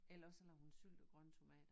Eller også så lavede hun syltede grønne tomater